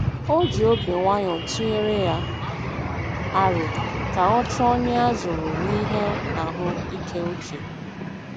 O ji obi nwayọ tụnyere ya aro ka ọ chọọ onye a zụrụ n'ihe ahụ ike uche.